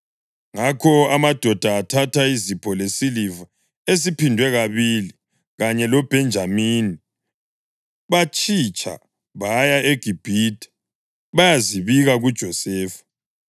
Ngakho amadoda athatha izipho lesiliva esiphindwe kabili kanye loBhenjamini. Batshitsha baya eGibhithe bayazibika kuJosefa.